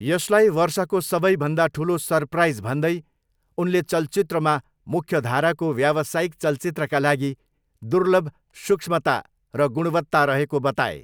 यसलाई 'वर्षको सबैभन्दा ठुलो सरप्राइज' भन्दै उनले चलचित्रमा मुख्यधाराको व्यावसायिक चलचित्रका लागि दुर्लभ 'सूक्ष्मता' र 'गुणवत्ता' रहेको बताए।